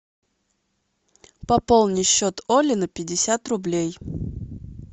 пополни счет оли на пятьдесят рублей